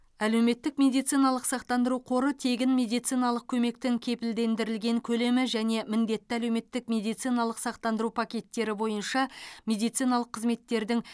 әлеуметтік медициналық сақтандыру қоры тегін медициналық көмектің кепілдендірілген көлемі және міндетті әлеуметтік медициналық сақтандыру пакеттері бойынша медициналық қызметтердің